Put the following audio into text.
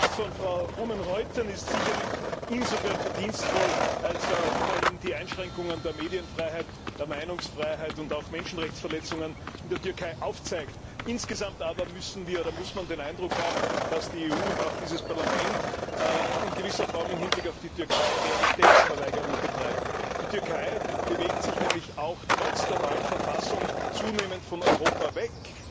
Der Bericht von Frau Oomen Ruijten ist sicherlich insofern verdienstvoll, als er immerhin die Einschränkungen der Medienfreiheit, der Meinungsfreiheit und auch Menschenrechtsverletzungen in der Türkei aufzeigt. Insgesamt aber muss man den Eindruck haben, dass die EU und auch dieses Parlament in gewisser Form im Hinblick auf die Türkei Realitätsverweigerung betreibt. Die Türkei bewegt sich nämlich trotz der neuen Verfassung zunehmend von Europa weg.